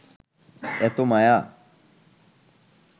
এত মায়া